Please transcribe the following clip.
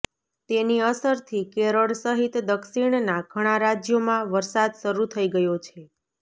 તેની અસરથી કેરળ સહિત દક્ષિણના ઘણાં રાજ્યોમાં વરસાદ શરૂ થઇ ગયો છે